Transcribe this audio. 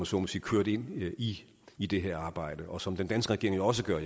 så må sige kørt ind i i det her arbejde og som den danske regering jo også gør